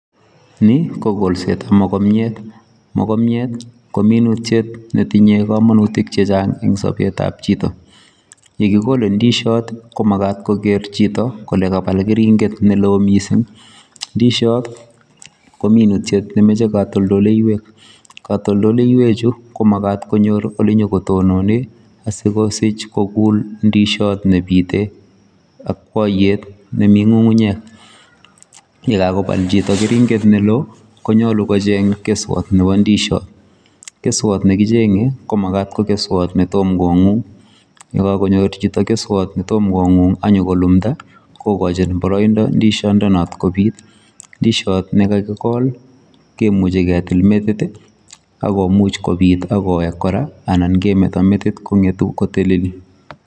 Ni ko golsetab mogomiet. Mogomiet ko minutiet netinye komonutik chechang' eng' sobetab chito. Ye kigole ndisiot, ko magat koger chito kole kabal keringet ne loo missing. Ndisiot ko minutiet ne mechei katoldoleiwek. Katoldoleiwek chu, ko magat konyor ole nyikotonen, asikosich kogul ndisiot nebite akwaiyet ne mi ng'ung'unyek. Ye kagobal chito keringet ne loo, konyolu kocheg' keswot nebo ndisiot. Keswot ne kicheng'e, ko magat ko keswot netom kong'ung. Ye kakonyor chito keswot netom kong'ung, ak nyigolumda, kogochin boroindo ndisiondonot no kobiit. Ndisiot ne kakigol, kemuche ketil metit, agomuch kobiit, agowek kora anan kemeto metit kong'etu koteleli